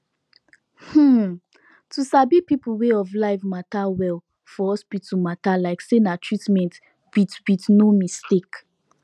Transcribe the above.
hmm to sabi people way of life matter well for hospital matter like say na treatment with with no mistake